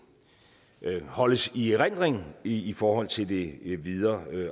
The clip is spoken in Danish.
holdes i erindring i forhold til det videre